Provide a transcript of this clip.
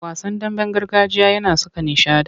Wasan damben gargajiya yana saka nishaɗi.